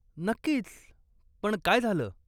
नक्कीच, पण काय झालं?